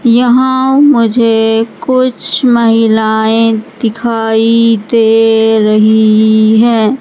यहां मुझे कुछ महिलाएं दिखाई दे रही हैं।